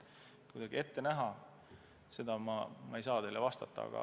Mida ma ette näen, seda ma ei saa teile vastata.